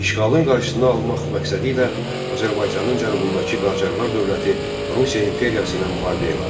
İşğalın qarşısını almaq məqsədilə Azərbaycanın cənubundakı Qacarlar dövləti Rusiya imperiyasına müharibə elan etdi.